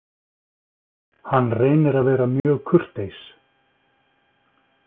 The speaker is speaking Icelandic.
Hann reynir að vera mjög kurteis.